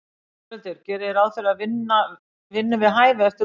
Þórhildur: Gerið þið ráð fyrir að fá vinnu við hæfi eftir útskrift?